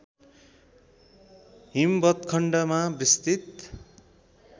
हिमवत्खण्डमा विस्तृत